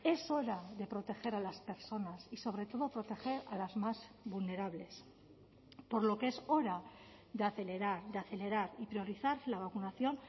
es hora de proteger a las personas y sobretodo proteger a las más vulnerables por lo que es hora de acelerar de acelerar y priorizar la vacunación